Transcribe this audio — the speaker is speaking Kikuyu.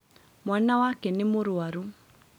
Mwana wake nĩ mũrũarũ